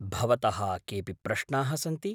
भवतः केऽपि प्रश्नाः सन्ति?